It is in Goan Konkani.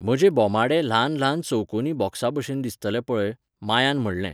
म्हजे बोमाडे ल्हान ल्हान चौकोनी बॉक्साबशेन दिसतले पळय, मायान म्हणलें.